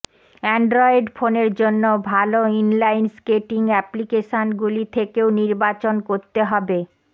Android ফোনের জন্য ভাল ইনলাইন স্কেটিং অ্যাপ্লিকেশনগুলি থেকেও নির্বাচন করতে হবে